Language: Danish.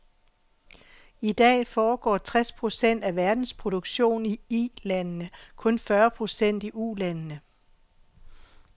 I dag foregår tres procent af verdens produktion i Ilandene, kun fyrre procent i Ulandene.